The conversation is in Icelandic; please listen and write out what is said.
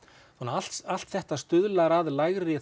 allt allt þetta stuðlar að lægri